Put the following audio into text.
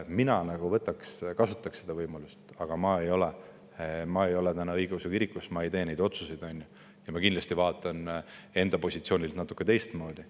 Mina kasutaksin seda võimalust, aga ma ei ole õigeusu kirikus, ma ei tee neid otsuseid ja ma kindlasti vaatan enda positsioonilt natuke teistmoodi.